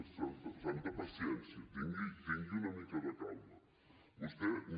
santa paciència tingui una mica de calma vostè no